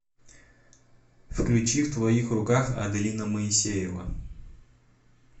включи в твоих руках аделина моисеева